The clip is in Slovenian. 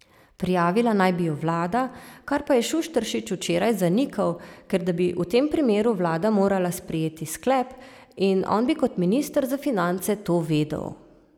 Prijavila naj bi ju vlada, kar pa je Šušteršič včeraj zanikal, ker da bi v tem primeru vlada morala sprejeti sklep in on bi kot minister za finance to vedel.